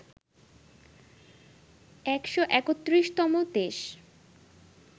১৩১তম দেশ